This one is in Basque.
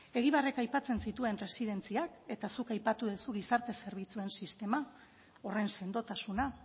egibarrek aipatzen zituen residentziak eta zuk aipatu duzu gizarte zerbitzuen sistema horren sendotasuna